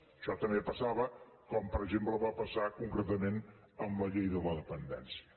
això també passava com per exemple va passar concretament amb la llei de la dependència